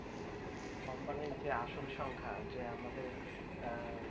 company যে আসল সংখ্যা যে আমাদের